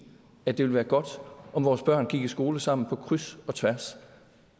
at det ville være godt om vores børn gik i skole sammen på kryds og tværs